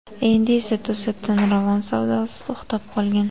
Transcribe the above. Endi esa to‘satdan Ravon savdosi to‘xtab qolgan.